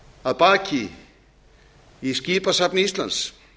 að baki í skipasafni íslands